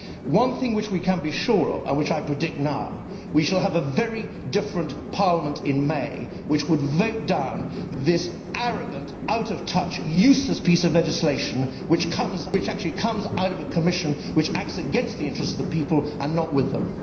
One thing which we can be sure of and which I predict now is that we shall have a very different Parliament in May, which would vote down this arrogant, out of touch, useless piece of legislation, which actually comes out of a Commission which acts against the interests of the people and not with them.